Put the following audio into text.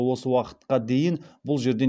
осы уақытқа дейін бұл жерден